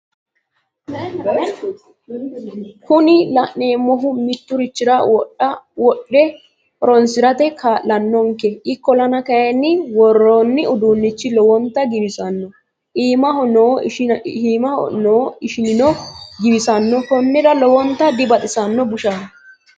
Kuni la'neemmohu mitturichira wodhe horonsisrate kaala'nonke ikkollana kayinni worroonni uduunnichi lowontta giwissanno iimaho noo ishinino giwissanno konnira lowonta dibaxisanno bushaho